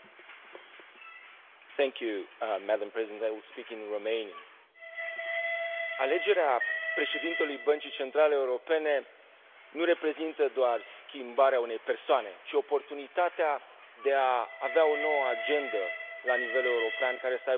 Doamna președintă, alegerea președintelui Băncii Centrale Europene nu reprezintă doar schimbarea unei persoane, ci și oportunitatea de a avea o nouă agendă la nivel european care să conțină cel puțin trei puncte esențiale.